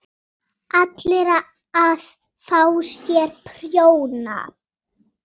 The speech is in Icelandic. ALLIR AÐ FÁ SÉR PRJÓNA!